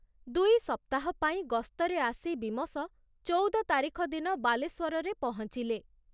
ଦୁଇ ସପ୍ତାହ ପାଇଁ ଗସ୍ତରେ ଆସି ବୀମସ ଚୌଦ ତାରିଖ ଦିନ ବାଲେଶ୍ଵରରେ ପହଞ୍ଚିଲେ।